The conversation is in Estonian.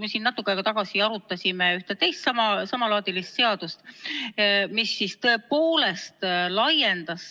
Me siin natuke aega tagasi arutasime ühte teist samalaadilist seaduseelnõu, mis laiendas